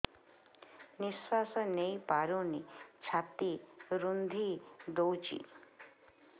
ନିଶ୍ୱାସ ନେଇପାରୁନି ଛାତି ରୁନ୍ଧି ଦଉଛି